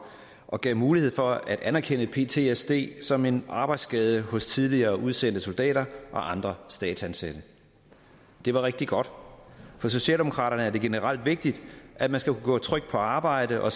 og gav mulighed for at anerkende ptsd som en arbejdsskade hos tidligere udsendte soldater og andre statsansatte det var rigtig godt for socialdemokraterne er det generelt vigtigt at man skal kunne gå trygt på arbejde og